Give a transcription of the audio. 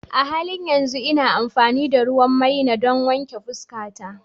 A halin yanzu ina amfani da ruwan maina don wanke fuskata.